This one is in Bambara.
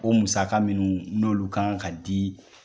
O musaka minnu n'olu kan ka di